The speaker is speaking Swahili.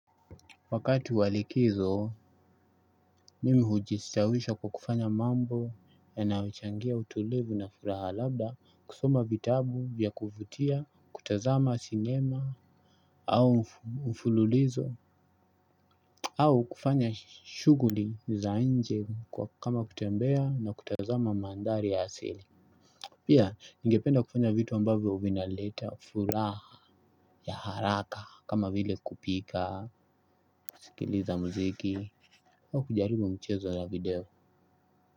Wakati wa likizo, mimi hujistawisha kwa kufanya mambo yanayochangia utulivu na furaha labda kusoma vitabu vya kuvutia, kutazama sinema, au mfululizo, au kufanya shughuli za nje kama kutembea na kutazama maandhari ya asili. Pia, ningependa kufanya vitu ambavyo vinaleta, furaha ya haraka kama vile kupika, kusikiliza muziki, au kujaribu mchezo la video.